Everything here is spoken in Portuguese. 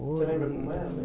Você lembra como era o